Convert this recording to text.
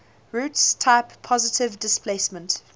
roots type positive displacement